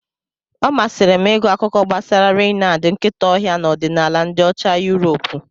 Ọ masịrị m ịgụ akuko gbasara Reynad nkịta ọhịa na ọdịnala ndị Ocha Yuropu.